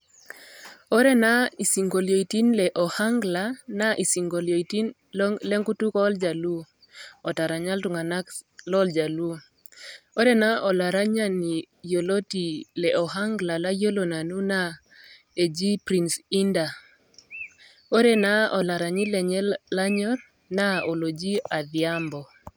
ore naa isinkoliotin le Ohangla naa isinkolitin le nkutuk ooljaluo, otaranya iltungana lojaluo. ore naa olaranyani yioloti loojaluo yioloti oji prince indah ore naa olaranyi lenye lanyor naa athiambo.